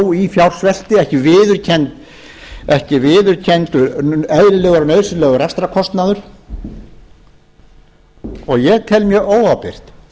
þó í fjársvelti ekki viðurkenndur eðlilegur og nauðsynlegur rekstrarkostnaður ég tel mjög óábyrgt